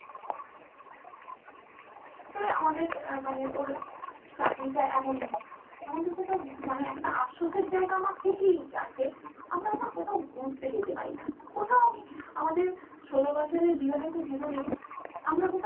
তবে আমাদের মানে ওর চাকরিটা এমনই আমাদের কোথাও মানে একটা আফসোসের জায়গা আমার কোথাও থেকেই আছে আমরা না কোথাও ঘুরতে যেতে পাইনা কোথাও আমি আমাদের ষোলোবছরের বিবাহিত জীবনে আমরা কোথাও